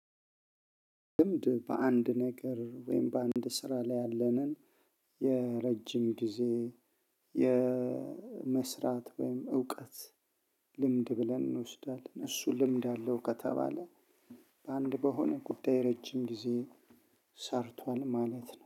ልምድ በአንድ ነገር ወይም በአንድ ስራ ላይ ያለንን የረጅም ጊዜ የመስራት ወይም እውቀት ልምድ ብለን እንወስዳለን እሱ ልምድ አለው ከተባለ። በአንድ በሆነ ጉዳይ ረጅም ጊዜ ሰርቷል ማለት ነው